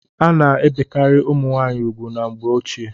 A na-ebekarị ụmụ nwaanyị ugwu na mgbe ochie.